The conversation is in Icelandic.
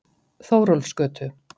Þórólfsgötu